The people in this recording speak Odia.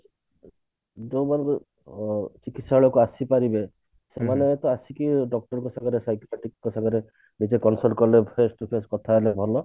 ଯେଉଁମାନେ କି ଅ ଚିକିତ୍ସାଳୟ କୁ ଆସିପାରିବେ ସେମାନେ ତ ଆସିକି doctor କଥା ହେଲେ ଭଲ